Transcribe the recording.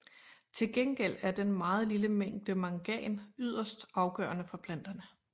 Til gengæld er den meget lille mængde mangan yderst afgørende for planterne